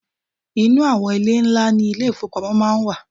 inu awon ile nla ni ile ifowopamo maa n wa